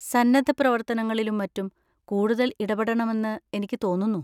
സന്നദ്ധപ്രവർത്തനങ്ങളിലും മറ്റും കൂടുതൽ ഇടപെടണമെന്ന് എനിക്ക് തോന്നുന്നു.